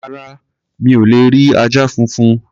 Rárá, mi ò lè rí ajá funfun.